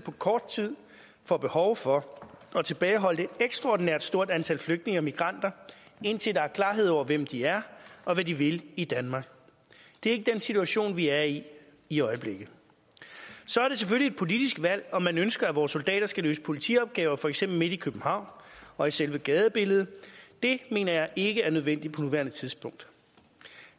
på kort tid får behov for at tilbageholde et ekstraordinært stort antal flygtninge og migranter indtil der er klarhed over hvem de er og hvad de vil i danmark det er ikke den situation vi er i i øjeblikket så er det selvfølgelig et politisk valg om man ønsker at vores soldater skal løse politiopgaver for eksempel midt i københavn og i selve gadebilledet det mener jeg ikke er nødvendigt på nuværende tidspunkt